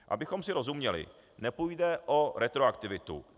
Abychom si rozuměli, nepůjde o retroaktivitu.